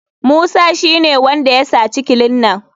Musa shine wanda ya saci kilinan.